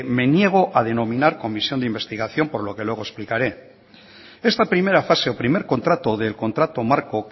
me niego a denominar comisión de investigación por lo que luego explicaré esta primera fase o primer contrato del contrato marco